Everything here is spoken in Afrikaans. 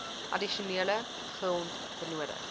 addisionele grond benodig